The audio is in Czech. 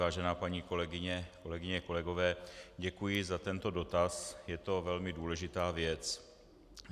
Vážená paní kolegyně, kolegyně, kolegové, děkuji za tento dotaz, je to velmi důležitá věc.